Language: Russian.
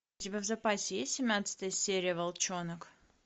у тебя в запасе есть семнадцатая серия волчонок